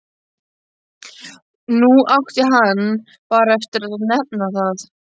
Nú átti hann bara eftir að nefna það.